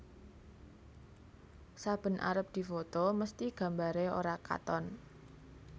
Saben arep difoto mesthi gambare ora katon